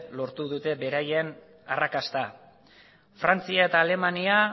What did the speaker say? lortu dute beraien arrakasta frantzia eta alemania